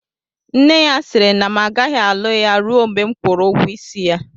Nne ya sịrị na m agaghị alụ ya rue mgbe m kwụrụ ụgwọ isi ya